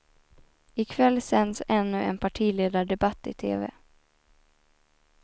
I kväll sänds ännu en partiledardebatt i tv.